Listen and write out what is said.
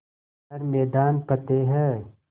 हर मैदान फ़तेह